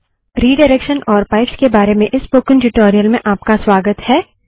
redirection और pipes के बारे में इस स्पोकन ट्यूटोरियल में आपका स्वागत है